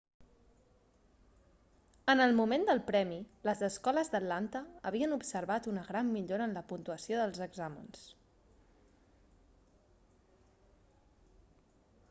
en el moment del premi les escoles d'atlanta havien observat una gran millora en la puntuació dels exàmens